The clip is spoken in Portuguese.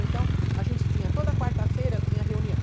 Então a gente tinha toda quarta-feira tinha reunião.